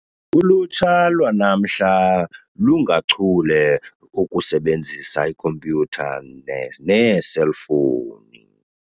Ulutsha lwanamhla lungachule okusebenzisa ikhompyutha neeselfowuni.